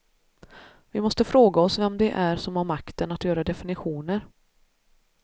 Vi måste fråga oss vem det är som har makten att göra definitioner.